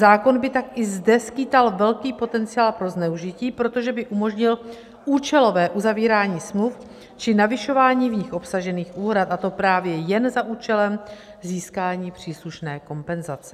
Zákon by tak i zde skýtal velký potenciál pro zneužití, protože by umožnil účelové uzavírání smluv či navyšování v nich obsažených úhrad, a to právě jen za účelem získání příslušné kompenzace.